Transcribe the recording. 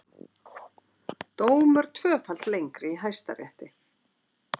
Dómur tvöfalt lengri í Hæstarétti